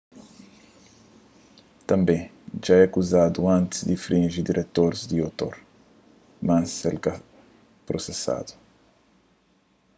tanbê dja é akuzadu antis di infrinji direitus di otor mas el ka prosesadu